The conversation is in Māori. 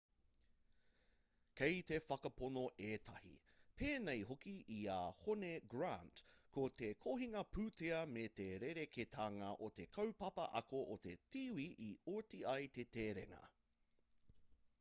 kei te whakapono ētahi pēnei hoki i a hone grant ko te kohinga pūtea me te rerekētanga o te kaupapa ako o te tīwī i oti ai te terenga